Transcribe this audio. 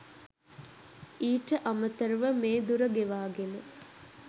ඊට අමතරව මේ දුර ගෙවාගෙන